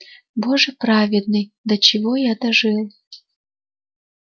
боже праведный до чего я дожил